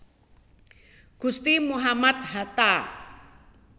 Gusti Muhammad Hatta